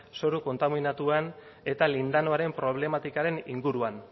zoru kontaminatuen eta lindanoaren problematikaren inguruan